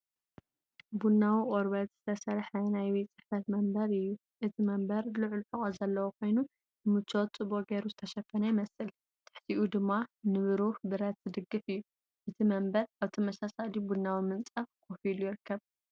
ቡናዊ ቆርበት ዝተሰርሐ ናይ ቤት ጽሕፈት መንበር እዩ። እቲ መንበር ልዑል ሕቖ ዘለዎ ኮይኑ ንምቾት ጽቡቕ ጌሩ ዝተሸፈነ ይመስል። ኣብ ትሕቲኡ ድማ ንብሩህ ብረት ዝድግፍ እዩ። እቲ መንበር ኣብ ተመሳሳሊ ቡናዊ ምንጻፍ ኮፍ ኢሉ ይርከብ።